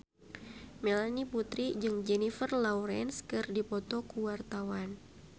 Melanie Putri jeung Jennifer Lawrence keur dipoto ku wartawan